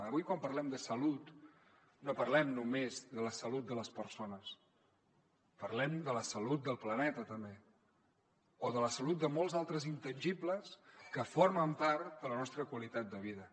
avui quan parlem de salut no parlem només de la salut de les persones parlem de la salut del planeta també o de la salut de molts altres intangibles que formen part de la nostra qualitat de vida